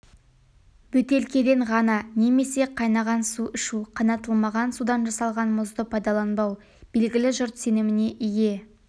бөтелкеден ғана немесе қайнаған су ішу қайнатылмаған судан жасалған мұзды пайдаланбау белгілі жұрт сеніміне ие